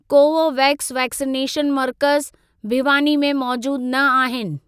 Covovax vaccination मर्कज़ भिवानी में मौजूद न आहिनि।